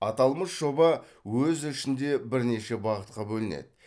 аталмыш жоба өз ішінде бірнеше бағытқа бөлінеді